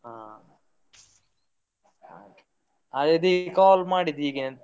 ಹಾಗಾಗಿ call ಮಾಡಿದ್ ಹೀಗೆನೆ.